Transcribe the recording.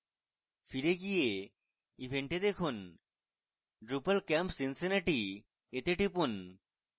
ফিরে গিয়ে event a দেখুন drupalcamp cincinnati তে টিপুন